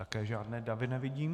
Taky žádné davy nevidím.